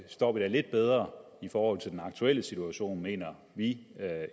står vi da lidt bedre i forhold til den aktuelle situation mener vi